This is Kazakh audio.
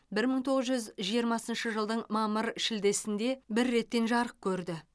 бір мың тоғыз жүз жиырмасыншы жылдың мамыр шілдесінде бір реттен жарық көрді